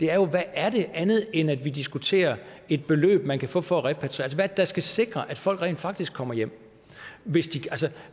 er jo hvad er det andet end at vi diskuterer et beløb man kan få for at repatriere der skal sikre at folk rent faktisk kommer hjem hvis